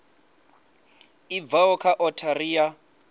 i bvaho kha othari ya